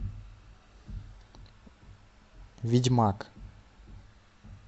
ведьмак